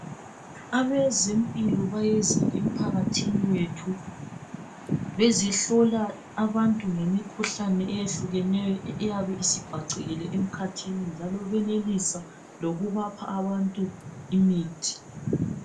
abezempilo bayeza emphakathini wethu bezehlola abantu ngemikhuhlane eyehlukeneyo eyabe isibhacekile emkhathini njalo benelisa lokubapha abantu imithi